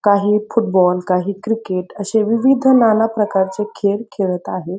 काही फुटबॉल काही क्रिकेट असे विविध नानाप्रकरचे खेळ खेळत आहेत.